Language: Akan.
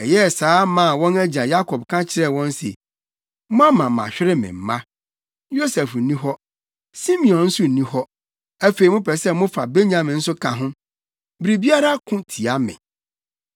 Ɛyɛɛ saa maa wɔn agya Yakob ka kyerɛɛ wɔn se, “Moama mahwere me mma. Yosef nni hɔ; Simeon nso nni hɔ; afei mopɛ sɛ mofa Benyamin nso ka ho! Biribiara ko tia me.”